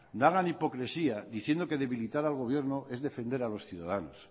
no hagan hipocresía diciendo que debilitar al gobierno es defender a los ciudadanos